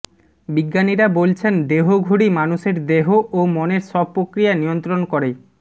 বিজ্ঞানীরা বলছেন দেহঘড়ি মানুষের দেহ ও মনের সব প্রক্রিয়া নিয়ন্ত্রণ করে